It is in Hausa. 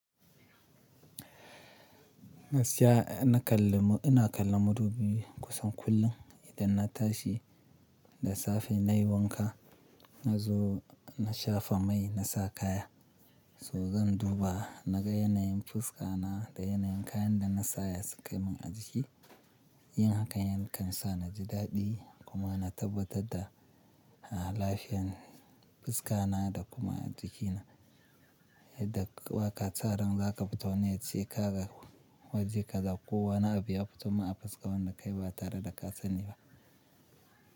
Na siya, na kalla, ina kallon madubi kusan kullum idan na tashi da safe nai wanka na zo na shafa mai na sa kaya. To zan duba naga yanayin fuska na da yanayin kayan da na sa ya sukai min a jiki. Yin hakan yakan sa na ji daɗi kuma na tabbatar da a lafiyan fuska na da kuma jiki na. To zan duba naga yanayin fuska na da yanayin kayan da nasa ya sukai min a jiki.